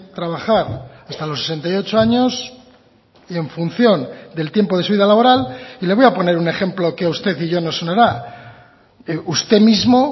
trabajar hasta los sesenta y ocho años y en función del tiempo de su vida laboral y le voy a poner un ejemplo que a usted y yo nos sonará usted mismo